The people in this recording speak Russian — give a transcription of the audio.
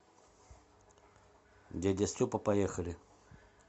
дядя степа поехали